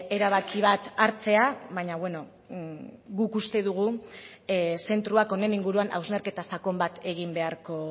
erabaki bat hartzea baina bueno guk uste dugu zentroak honen inguruan hausnarketa sakon bat egin beharko